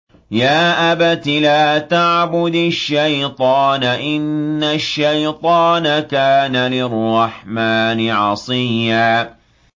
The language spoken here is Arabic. يَا أَبَتِ لَا تَعْبُدِ الشَّيْطَانَ ۖ إِنَّ الشَّيْطَانَ كَانَ لِلرَّحْمَٰنِ عَصِيًّا